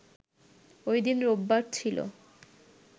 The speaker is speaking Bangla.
ওইদিন রোববার ছিল